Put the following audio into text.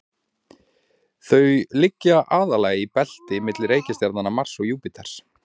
þau liggja aðallega í belti milli reikistjarnanna mars og júpíters